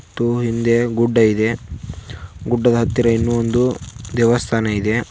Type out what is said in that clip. ಮತ್ತು ಹಿಂದೆ ಗುಡ್ಡ ಇದೆ ಗುಡ್ಡದ ಹತ್ತಿರ ಇನ್ನೊಂದು ದೇವಸ್ಥಾನ ಇದೆ.